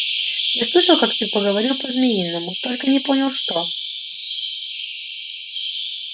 я слышал как ты поговорил по-змеиному только не понял что